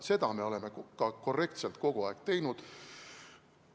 Seda me oleme ka korrektselt kogu aeg teinud.